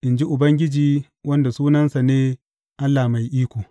in ji Ubangiji, wanda sunansa ne Allah Mai Iko.